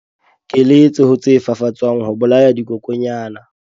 Keletso ho tse fafatswang ho bolaya dikokwanyana.